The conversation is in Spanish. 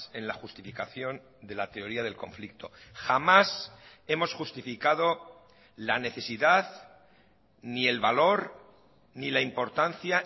en la justificación de la teoría del conflicto jamás hemos justificado la necesidad ni el valor ni la importancia